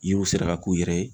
Yiriw sera ka k'u yɛrɛ ye.